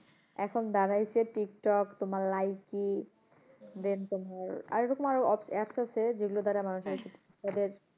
এখন দাড়াইছে টিকটক তোমার লাইকি then তোমার, আরো এরকম আরো apps আছে, যেগুলো দ্বারা মানুষ তাদের,